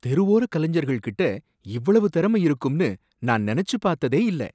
தெருவோர கலைஞர்கள் கிட்ட இவ்வளவு திறமை இருக்கும்னு நான் நெனச்சு பாத்ததே இல்ல.